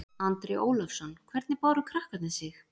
Andri Ólafsson: Hvernig báru krakkarnir sig?